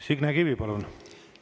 Signe Kivi, palun!